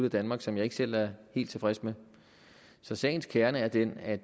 i danmark som jeg ikke selv er helt tilfreds med så sagens kerne er den at